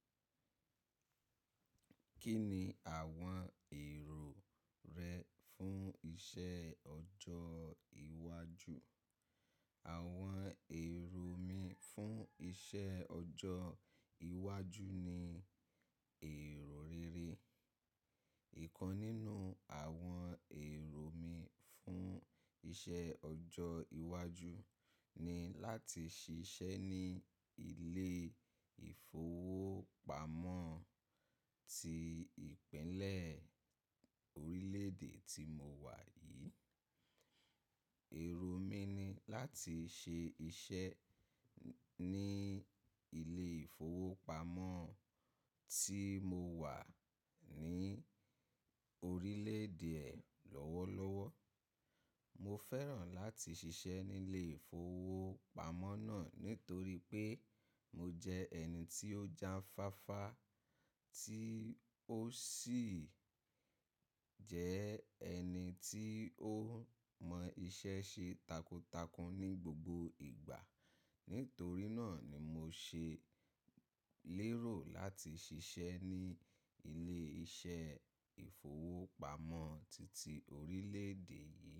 Kí ni àwọn èrò rẹ fún iṣẹ́ ọjọ́ iwájú? Àwọn èrò mi fún iṣẹ́ ọjọ́ iwájú ni èrò rere. Ìkan nínú àwọn èrò mi fún iṣẹ́ ọjọ́ iwájú ni láti ṣiṣẹ́ ní ilé ìfowópamọ́ ti ìpínlẹ̀ orílè-èdè tí mo wà yìí. Èrò mi ni láti ṣe iṣẹ́ ní ilé ìfowópamọ́ tí mo wà ní orílè-èdè eh lọ́wọ́lọ́wọ́. Mo fẹ́ràn láti ṣiṣẹ́ nílé ìfowópamọ́ náà nítorí pé mo jẹ́ ẹni tí ó jáfáfá, tí ó sì jẹ́ ẹni tí ó mọ iṣẹ́ ṣe takuntakun ní gbogbo ìgbà. Nítorí náà ni mo ṣe lérò láti ṣiṣẹ́ ní ilé-iṣẹ́ ìfowópamọ́ titi orílè-èdè yìí.